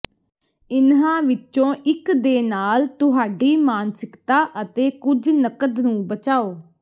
ਇਨ੍ਹਾਂ ਵਿੱਚੋਂ ਇੱਕ ਦੇ ਨਾਲ ਤੁਹਾਡੀ ਮਾਨਸਿਕਤਾ ਅਤੇ ਕੁਝ ਨਕਦ ਨੂੰ ਬਚਾਓ